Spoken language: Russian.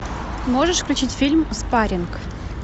можешь включить фильм спаринг